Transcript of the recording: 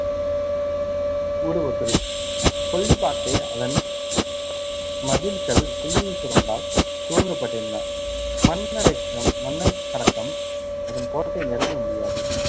மூடப்பட்டது கொல்லிப்பாக்கை, அதன் மதில்கள் சுள்ளி சுரங்கால் சூழப்பட்டிருந்தன மன்னறை~ மன்னைக்கடக்கம் அதன் கோட்டை நெருங்க முடியாது